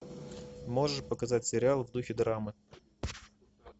можешь показать сериал в духе драмы